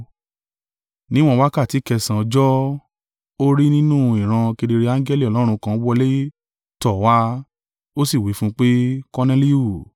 Níwọ́n wákàtí kẹsànán ọjọ́, ó rí nínú ìran kedere angẹli Ọlọ́run kan wọlé tọ̀ ọ́ wá, ó sì wí fún un pé, “Korneliu!”